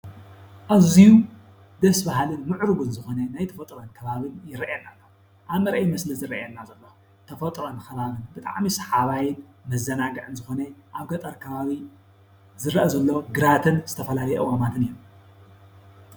ኣዝዩ ደስ ባሃልን ምዕሩግን ዝኾነ ናይ ተፈጥሮን ከባብን ይርአየና ኣሎ። ኣብ መርአዪ ምስሊ ዝርአየና ዘሎ ተፈጥሮን ከባብን ብጣዕሚ ሳሓባይን መዘናግዕን ዝኾነ ኣብ ገጠር ከባቢ ዝርአ ዘሎ ግራትን ዝተፈላለዩ ኣእዋማትን እዮም።